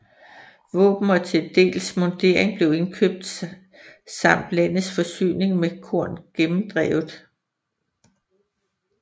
Våben og til dels mundering blev indkøbt samt landets forsyning med korn gennemdrevet